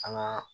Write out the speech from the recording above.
An ŋaa